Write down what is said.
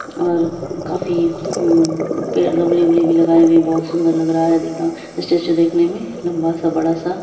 --और काफी पेड़ गमले अमले भी लगाए हुए है बहुत सुंदर लग रहा है स्टैचू देखने मैं लंबा सा बड़ा सा--